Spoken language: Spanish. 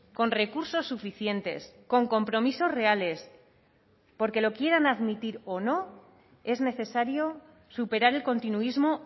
con recursos suficientes con compromisos reales porque lo quieran admitir o no es necesario superar el continuismo